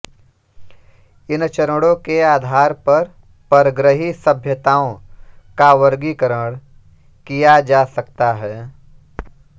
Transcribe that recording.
इन चरणो के आधार पर परग्रही सभ्यताओं का वर्गीकरण किया जा सकता है